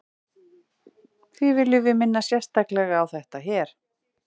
því viljum við minna sérstaklega á þetta hér